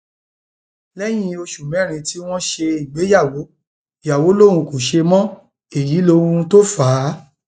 lẹyìn oṣù mẹrin tí wọn ṣègbéyàwó ìyàwó lòun kò ṣe mọ èyí lóhun tó fà á